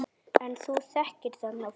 En þú þekkir þarna fólk?